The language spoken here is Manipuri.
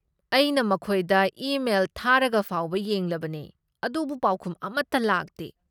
ꯑꯩꯅ ꯃꯈꯣꯏꯗ ꯏꯃꯦꯜ ꯊꯥꯔꯒꯐꯥꯎꯕ ꯌꯦꯡꯂꯕꯅꯦ ꯑꯗꯨꯕꯨ ꯄꯥꯎꯈꯨꯝ ꯑꯃꯠꯇ ꯂꯥꯛꯇꯦ꯫